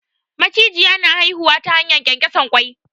Macijiya na haihuwa ta hanyar ƙyanƙyasan ƙwai.